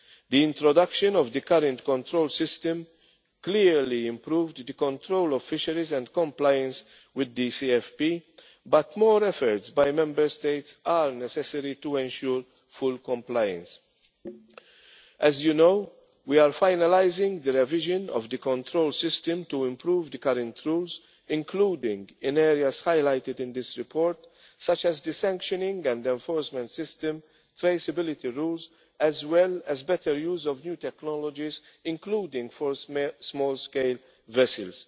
regard. The introduction of the current control system clearly improved the control of fisheries and compliance with the CFP, but more efforts by Member States are necessary to ensure full compliance. As you know, we are finalising the revision of the control system to improve the current rules, including in areas highlighted in this report, such as the sanctioning and enforcement system and traceability rules, as well as better use of new technologies, including for small scale